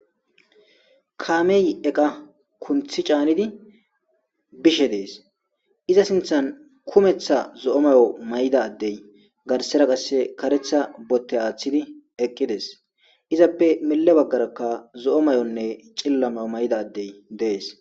Kammey eqa kunththi caanidi bishshe des iza sinththan kumeththa zo'o mayo mayida adey garsera qase kareththa botte aththides izappe mile bagara zo'o mayyonne cilila mayo mayida adey des